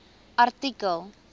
artikel